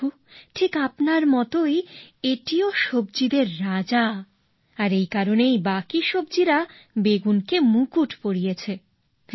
প্রভু ঠিক আপনার মতই এটিও সবজিদের রাজা আর এ কারণেই বাকি সবজিরা বেগুনকে মুকুট পরিয়েছে